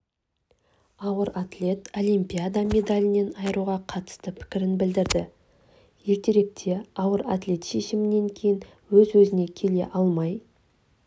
ауыр атлет олимпиада медалінен айыруға қатысты пікірін білдірді ертеректе ауыр атлет шешімінен кейін өз-өзіне келе алмай